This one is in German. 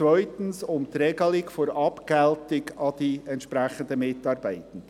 zweitens: die Regelung der Abgeltung an die entsprechenden Mitarbeitenden.